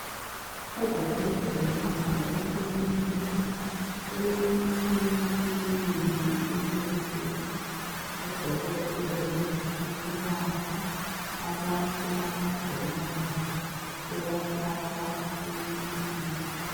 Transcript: Ezibhedlela lemakilinika kulemitshina eminengi encedisa odokotela ukulapha abantu abagulayo bebafaka emtshineni.